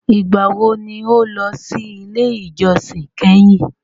Ìgbà wo ni o lọ sí ilé ìjósìn kẹ́hìn?